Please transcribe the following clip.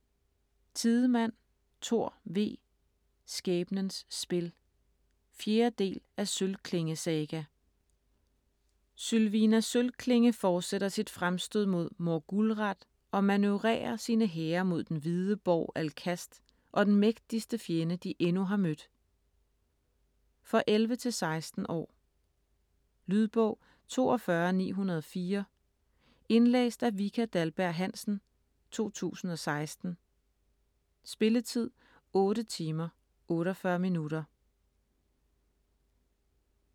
Tidemand, Thor V.: Skæbnens spil 4. del af Sølvklinge saga. Sylvina Sølvklinge fortsætter sit fremstød mod Morgulrath, og manøvrerer sine hære mod den Hvide Borg Alcast og den mægtigste fjende de endnu har mødt. For 11-16 år. Lydbog 42904 Indlæst af Vika Dahlberg-Hansen, 2016. Spilletid: 8 timer, 48 minutter.